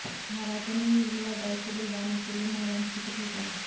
महाराजा ने निर्मला दाई को बुलाने के लिए महामंत्री को भेजा